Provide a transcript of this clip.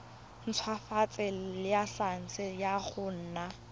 ntshwafatsa laesense ya go nna